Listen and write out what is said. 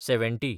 seventy